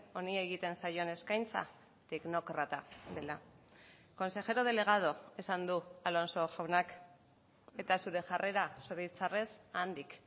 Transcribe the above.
honi egiten zaion eskaintza teknokrata dela consejero delegado esan du alonso jaunak eta zure jarrera zoritxarrez handik